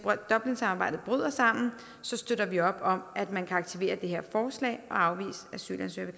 dublinsamarbejdet bryder sammen støtter vi op om at man kan aktivere det her forslag og afvise asylansøgere